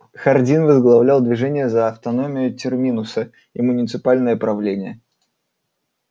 хардин возглавлял движение за автономию терминуса и муниципальное правление